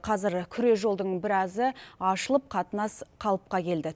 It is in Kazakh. қазір күре жолдың біразі ашылып қатынас қалыпқа келді